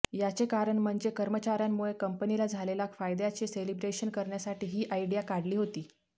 याचे कारण म्हणजे कर्मचाऱ्यांमुळे कंपनीला झालेला फायद्याचे सेलिब्रेशन करण्यासाठी ही आयडिया काढली होती